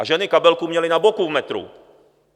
A ženy kabelku měly na boku v metru.